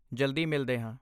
ਜਲਦੀ ਮਿਲਦੇ ਹਾਂ!